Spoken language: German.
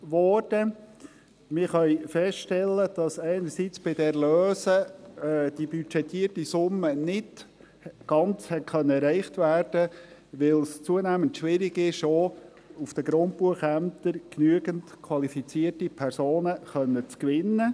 Wir können feststellen, dass zum einen bei den Erlösen die budgetierte Summe nicht ganz erreicht werden konnte, weil es auch auf den Grundbuchämtern zunehmend schwierig ist, genügend qualifizierte Personen gewinnen zu können.